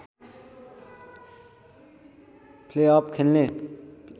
playoff खेल्ने